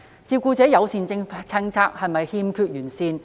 照顧者友善政策是否欠完善？